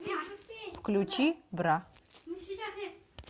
включи бра